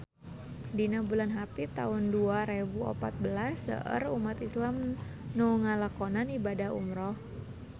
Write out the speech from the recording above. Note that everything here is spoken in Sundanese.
Dina bulan Hapit taun dua rebu opat belas seueur umat islam nu ngalakonan ibadah umrah